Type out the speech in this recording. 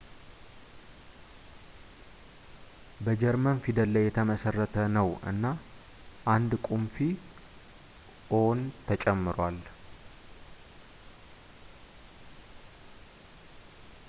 በጀርመን ፊደል ላይ የተመሠረተ ነው እና አንድ ቁምፊ «õ/õ» ተጨምሯል